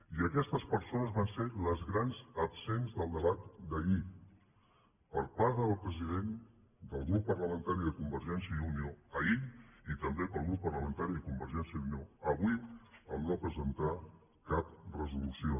i aquestes persones van ser les grans absents del debat d’ahir per part del president del grup parlamentari de convergència i unió ahir i també pel grup parlamentari de convergència i unió avui en no presentar cap resolució